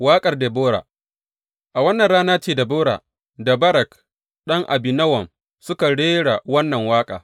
Waƙar Debora A wannan rana ce Debora da Barak ɗan Abinowam suka rera wannan waƙa.